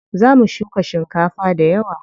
Za mu shuka shinkafa dayawa.